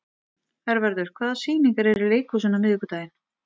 Hervarður, hvaða sýningar eru í leikhúsinu á miðvikudaginn?